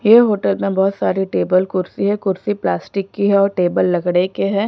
ये होटल में बहुत सारी टेबल कुर्सी है कुर्सी प्लास्टिक की है और टेबल लकड़े के हैं।